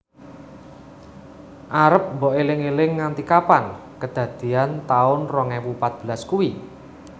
Arep mbok eling eling nganti kapan kedadean taun rong ewu patbelas kui?